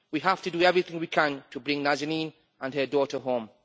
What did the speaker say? We have to do everything we can to bring Nazanin and her daughter home.